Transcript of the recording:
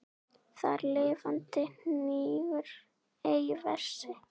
Þar lifandi hnígur ei vessi.